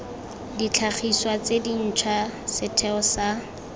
ditlhagiswa tse dintšhwa setheo sa